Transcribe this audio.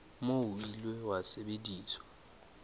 moo o ile wa sebediswa